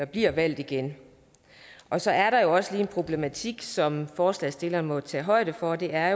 blive valgt igen og så er der også lige en problematik som forslagsstillerne må tage højde for og det er at